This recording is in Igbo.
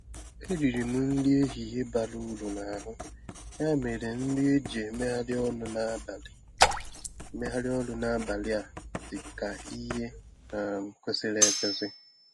Eriri m nri ehihie bara uru n'ahụ, ya mere nri eji emegharị ọnụ n'abalị emegharị ọnụ n'abalị a dị ka ihe um kwesịrị ekwesị.